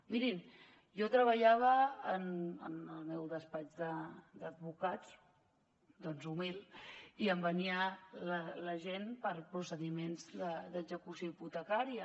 mirin jo treballava en el meu despatx d’advocats doncs humil i em venia la gent per procediments d’execució hipotecària